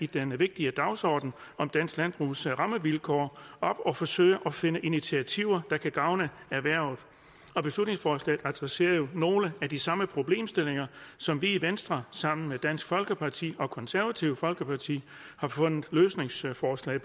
den vigtige dagsorden om dansk landbrugs rammevilkår op og forsøger at finde initiativer der kan gavne erhvervet og beslutningsforslaget adresserer jo nogle af de samme problemstillinger som vi i venstre sammen med dansk folkeparti og konservative folkeparti har fundet løsningsforslag